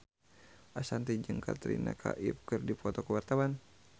Ashanti jeung Katrina Kaif keur dipoto ku wartawan